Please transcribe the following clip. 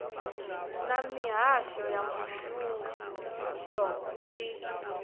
na mihasho ya muvhuso i